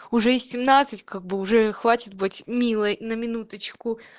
уже и семнадцать как бы уже хватит быть милой на минуточку